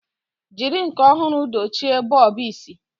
Jiri nke ọhụrụ dochie bọlbụ isi.